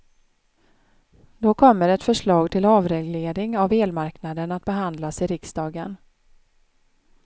Då kommer ett förslag till avreglering av elmarknaden att behandlas i riksdagen.